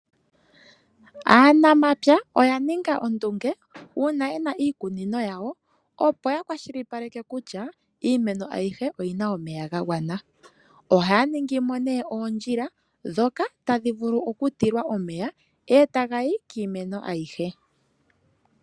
Aanamapya oya ninga ondunge uuna yena iikunino yawo opo ya kwashilipaleke kutya iimeno ayihe oyina omeya ga gwana. Ohaya ningimo nee oondjila ndhoka tadhi vulu oku tilwa omeya etaga yi kiimeno ayihe.